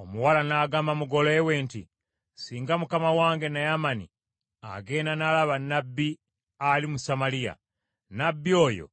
Omuwala n’agamba mugole we nti, “Singa mukama wange Naamani agenda n’alaba nnabbi ali mu Samaliya, nnabbi oyo